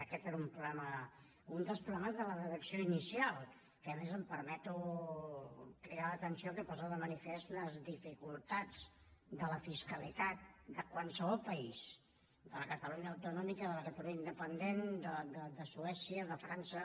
aquest era un problema un dels problemes de la redacció inicial que a més em permeto cridar l’atenció que posa de manifest les dificultats de la fiscalitat de qualsevol país de la catalunya autonòmica de la catalunya independent de suècia de frança